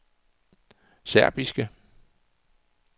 serbiske